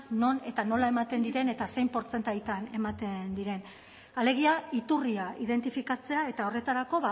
non eta nola ematen diren eta zein portzentajetan ematen diren alegia iturria identifikatzea eta horretarako